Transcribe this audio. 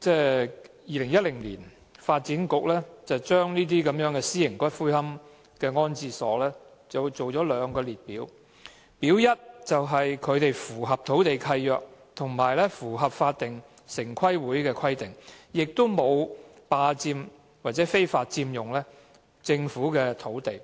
在2010年，發展局就私營龕場訂定兩個列表，"表一"的私營龕場符合土地契約及城市規劃委員會的規定，沒有非法佔用政府土地，